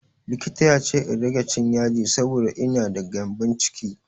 Likita ya ce in rage cin yaji saboda ina da gyambon ciki.